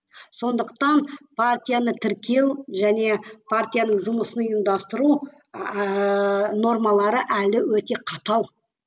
сондықтан партияны тіркеу және партияның жұмысын ұйымдастыру ііі нормалары әлі өте қатал